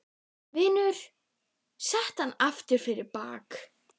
Vinurinn setur hana aftur fyrir bak.